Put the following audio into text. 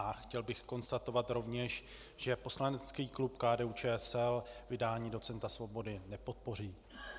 A chtěl bych konstatovat rovněž, že poslanecký klub KDU-ČSL vydání docenta Svobody nepodpoří.